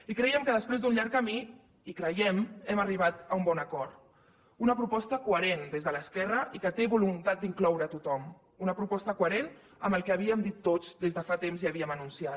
i crèiem que després d’un llarg camí i creiem hem arribat a un bon acord una proposta coherent des de l’esquerra i que té voluntat d’incloure a tothom una proposta coherent amb el que havíem dit tots des de fa temps i havíem anunciat